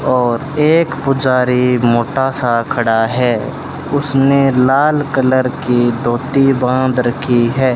और एक पुजारी मोटा सा खड़ा है उसने लाल कलर की धोती बांध रखी है।